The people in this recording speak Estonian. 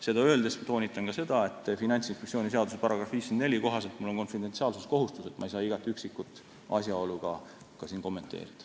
Seda öeldes toonitan ka seda, et Finantsinspektsiooni seaduse § 54 kohaselt mul on konfidentsiaalsuskohustus, st ma ei saa igat üksikut asjaolu kommenteerida.